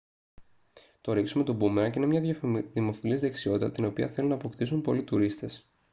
το ρίξιμο του μπούμερανγκ είναι μια δημοφιλής δεξιότητα την οποία θέλουν να αποκτήσουν πολλοί τουρίστες